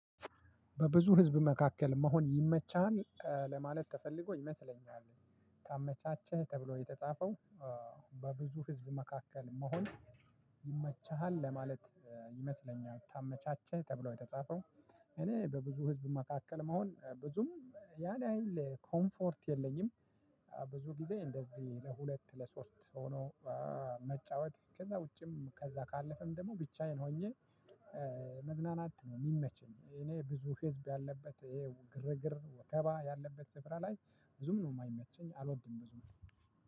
በብዙ ህዝብ መካከል መሆን ይመችሃል ለማለት ተፈልጎ ይመስለኛልፅ ተመቻቸ ተብሎ ነው የተፃፈው። በብዙ ህዝብ መካከል መሆን ይመቸሃል ለማለት ይመስለኛል ተመቻቸው ተብሎ የተጻፈው። እኔ በብዙ ህዝብ መካከል መሆን ብዙም ያን ያህል ኮምፈርት የለኝም። ብዙ ጊዜ እንደዚህ ለሁለት ለሶስት ሆኖ መጫወት ከዛ ውጪም ከዛ ካለፈም ደግሞ ብቻዬን ሆኜ መዝናናት ነው የሚመችኝ። እኔ ብዙ ህዝብ ባለበት ግርግር ወከባ ያለበት ስፍራ ላይ ብዙም ነው የማይመቸኝ አልወድም ብዙም።